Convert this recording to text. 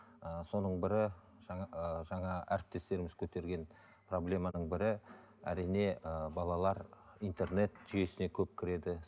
ыыы соның бірі жаңа ыыы жаңа әріптестеріңіз көтерген проблеманың бірі әрине ы балалар интернет жүйесіне көп кіреді